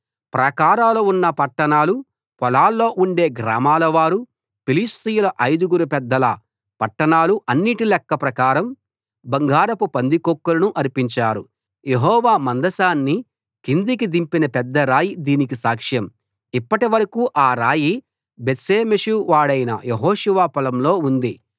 ప్రాకారాలు ఉన్న పట్టణాలు పొలాల్లో ఉండే గ్రామాలవారు ఫిలిష్తీయుల ఐదుగురు పెద్దల పట్టణాలు అన్నిటి లెక్క ప్రకారం బంగారపు పందికొక్కులను అర్పించారు యెహోవా మందసాన్ని కిందికి దింపిన పెద్దరాయి దీనికి సాక్ష్యం ఇప్పటివరకూ ఆ రాయి బేత్షెమెషు వాడైన యెహోషువ పొలంలో ఉంది